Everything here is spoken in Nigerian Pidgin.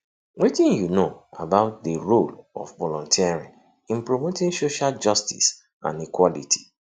wetin you know about di role of volunteering in promoting social justice and equality